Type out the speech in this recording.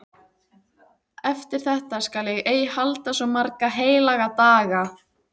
Eftir þetta skal ég ei halda svo marga heilaga daga.